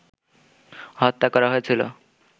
হত্যা করা হয়েছিল